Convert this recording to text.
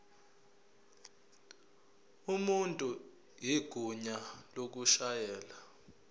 umuntu igunya lokushayela